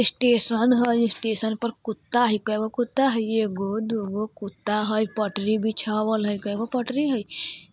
स्टेशन हय स्टेशन पर कुत्ता हय कएगो कुत्ता हय एगो दु गो कुत्ता हय पटरी बीछाबल हय कएगो को पटरी हय?